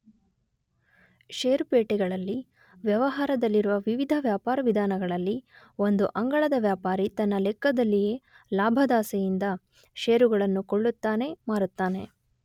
ಷೇರು ಪೇಟೆಗಳಲ್ಲಿ ವ್ಯವಹಾರದಲ್ಲಿರುವ ವಿವಿಧ ವ್ಯಾಪಾರ ವಿಧಾನಗಳಲ್ಲಿ ಒಂದು ಅಂಗಳದ ವ್ಯಾಪಾರಿ ತನ್ನ ಲೆಕ್ಕದಲ್ಲಿಯೇ ಲಾಭದಾಸೆಯಿಂದ ಷೇರುಗಳನ್ನು ಕೊಳ್ಳುತ್ತಾನೆ, ಮಾರುತ್ತಾನೆ.